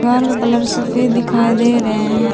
Colour सफेद दिखाई दे रहे हैं।